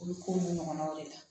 Olu ko n'u ɲɔgɔnnaw de la